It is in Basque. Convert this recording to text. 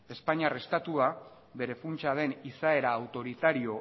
espainiar estatua bere funtsa den izaera autoritario